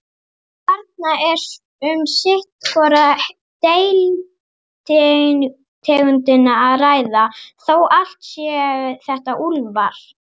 Þarna er um sitt hvora deilitegundina að ræða, þó allt séu þetta úlfar.